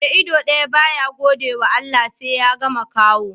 Mai ido daya ba ya gode wa Allah, sai ya ga makaho